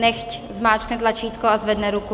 Nechť zmáčkne tlačítko a zvedne ruku.